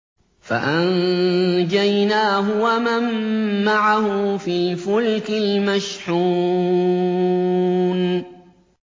فَأَنجَيْنَاهُ وَمَن مَّعَهُ فِي الْفُلْكِ الْمَشْحُونِ